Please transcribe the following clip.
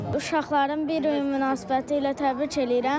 Uşaqların bir iyun münasibəti ilə təbrik eləyirəm.